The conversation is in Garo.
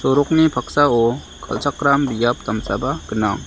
sorokni paksao kal·chakram biap damsaba gnang.